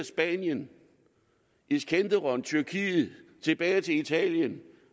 spanien iskinderun tyrkiet og tilbage til italien